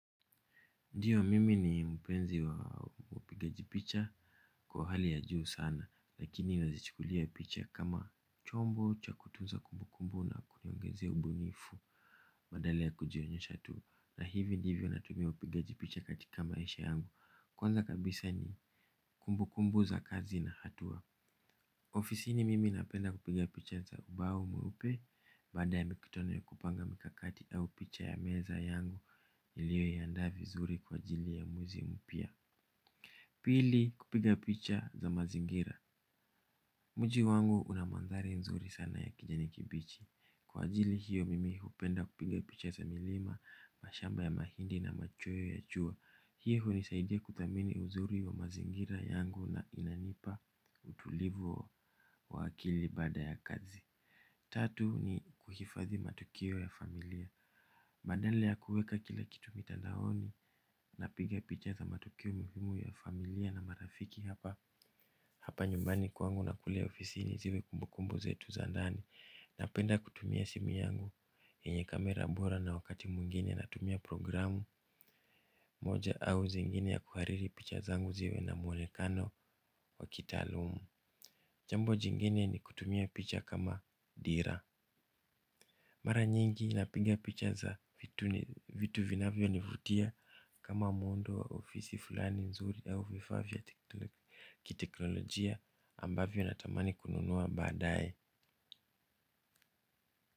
Ndiyo, mimi ni mpenzi wa upigaji picha kwa hali ya juu sana, lakini nazichukulia picha kama chombo cha kutunza kumbukumbu na kuniongezea ubunifu. Badala ya kujionyesha tu, na hivi ndivyo ninavyotumia upigaji picha katika maisha yangu. Kwanza kabisa ni kumbukumbu za kazi na hatua. Ofisini mimi napenda kupiga picha za ubao mweupe. Baada ya mikutano ya kupanga mikakati au picha ya meza yangu niliyoiandaa vizuri kwa ajili ya mwezi mpya. Pili kupiga picha za mazingira. Mji wangu una mandhari nzuri sana ya kijani kibichi. Kwa ajili hiyo mimi hupenda kupiga picha za milima, mashamba ya mahindi na machweo ya jua. Hii hunisaidia kuthamini uzuri wa mazingira yangu na inanipa utulivu. Wa wa akili bada ya kazi. Tatu ni kuhifadhi matukio ya familia. Badala ya kuweka kila kitu mitandaoni, napiga picha za matukio muhimu ya familia na marafiki hapa. Hapa nyumbani kwangu na kule ofisini zile kumbukumbu zetu za ndani. Napenda kutumia simu yangu, yenye kamera bora, na wakati mwingine natumia programu moja au zingine za kuhariri picha zangu ziwe na mwonekano wa kitaalamu. Jambo jingine ni kutumia picha kama dira. Mara nyingi napiga picha za vitu vinavyonivutia. Kama muundo wa ofisi fulani nzuri au vifaa vya kiteknolojia. Ambavyo natamani kununua badaye.